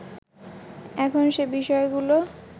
এখন সে বিষয়গুলো